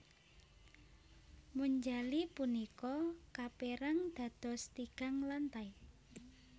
Monjali punika kapérang dados tigang lantai